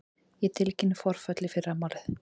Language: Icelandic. Ég tilkynni forföll í fyrramálið.